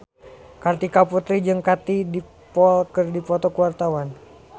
Kartika Putri jeung Katie Dippold keur dipoto ku wartawan